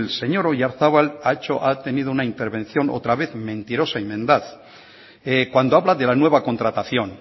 señor oyarzabal ha tenido una intervención otra vez mentirosa y mendaz cuando habla de la nueva contratación